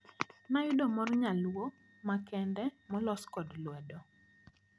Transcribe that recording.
Nayudo mor nyaluo ma kende molos kod lwedo.